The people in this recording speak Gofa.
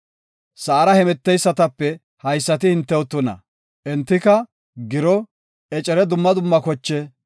“Sa7ara hemeteysatape haysati hintew tuna. Entika giro, ecere, dumma dumma koche,